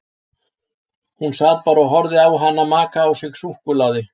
Hún sat bara og horfði á hana maka á sig súkkulaði.